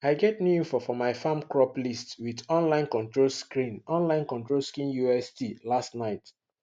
i get new info for my farm crop list with online control screen online control screen ust last night